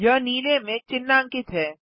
यह नीले में चिह्नांकित है